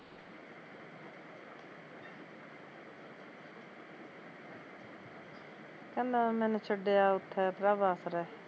ਕਹਿੰਦਾ ਮੈਨੂੰ ਛੱਡਿਆ ਉੱਥੇ ਪ੍ਰਭ ਆਸਰੇ